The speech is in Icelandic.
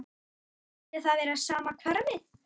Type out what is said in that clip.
Skyldi það vera sama hverfið?